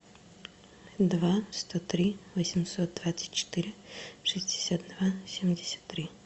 два сто три восемьсот двадцать четыре шестьдесят два семьдесят три